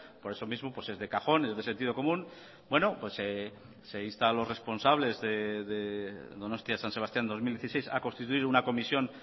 por eso mismo es de cajón es de sentido común se insta a los responsables de donostia san sebastián dos mil dieciséis a constituir una comisión